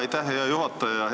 Aitäh, hea juhataja!